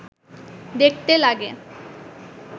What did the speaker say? দেখতে লাগে